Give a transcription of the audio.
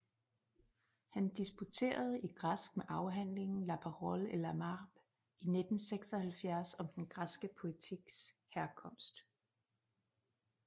Han disputerede i græsk med afhandlingen La parole et le marbre i 1976 om den græske poetiks herkomst